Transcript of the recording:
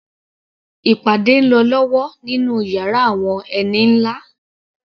Ìpàdé ń lọ lọ́wọ́ nínú yàrá àwọn ẹni nlá